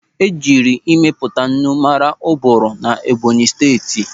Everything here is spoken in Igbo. E jiri ịmepụta ńnù maara Uburu na Ẹ́bọ̀nyị̀ Steeti.